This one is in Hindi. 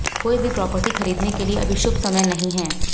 कोई भी प्रॉपर्टी खरीदने के लिए अभी शुभ समय नहीं है